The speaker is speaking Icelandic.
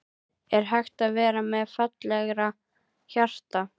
Er hægt að vera með fallegra hjarta?